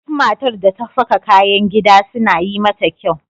Duk matar da ta saka kayan gida suna yi mata kyau.